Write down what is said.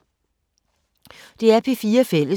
DR P4 Fælles